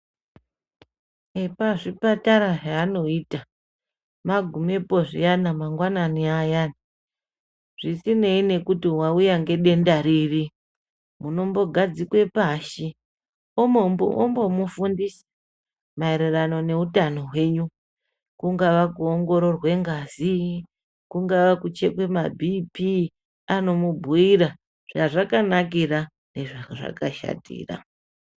epachipatara zvavanoita magumepo zviyani mangwanani ayani zvisinei nekuti wauuya ngedenda riri anomunogadzika pashi ombomufundisa maererano neutano hwenyu kungaa kuongororwa ngazi , kuchekwa mapBP anomubhuyira zvazvakanakira nezvazvakashatira